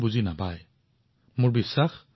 এনে দেশবোৰৰ কথা মনত ৰাখি আপোনাৰ তথ্য প্ৰচাৰ কৰক